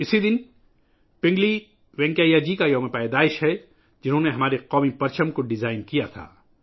یہ دن پنگلی وینکیا جی کا یوم پیدائش ہے ، جنہوں نے ہمارے قومی پرچم کو ڈیزائن کیا تھا